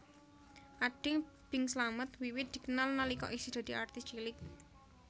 Ading Bing Slamet wiwit dikenal nalika isih dadi artis cilik